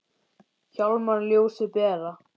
Hjálmar ljósið bera.